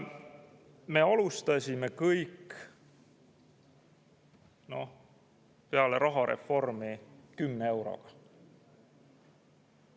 Me alustasime kõik peale rahareformi kümne euroga.